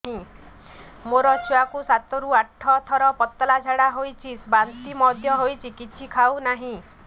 ମୋ ଛୁଆ କୁ ସାତ ରୁ ଆଠ ଥର ପତଳା ଝାଡା ହେଉଛି ବାନ୍ତି ମଧ୍ୟ୍ୟ ହେଉଛି କିଛି ଖାଉ ନାହିଁ